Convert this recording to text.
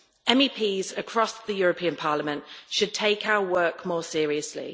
MEPs across the European Parliament should take our work more seriously.